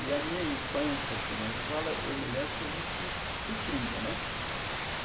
E a minha infância, assim, na escola, eu me lembro, foi muito sofrida, né?